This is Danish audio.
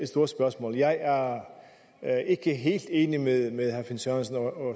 stort spørgsmål jeg er ikke helt enig med herre finn sørensen og